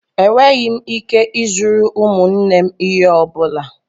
Enweghị m ike ịzụrụ ụmụnne m ihe ọ bụla.